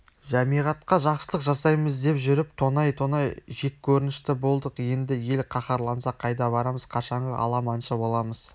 жамиғатқа жақсылық жасаймыз деп жүріп тонай-тонай жеккөрінішті болдық енді ел қаһарланса қайда барамыз қашанғы аламаншы боламыз